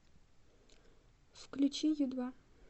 включи ю два